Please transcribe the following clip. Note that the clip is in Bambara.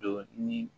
Don ni